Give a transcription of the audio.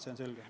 See on selge.